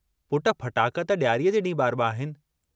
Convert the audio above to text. पुट, फटाका त डियारीअ जे डींहुं बारबा आहिनि!